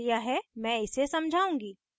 मैं इसे समझाउंगी